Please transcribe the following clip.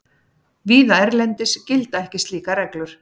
Víða erlendis gilda ekki slíkar reglur.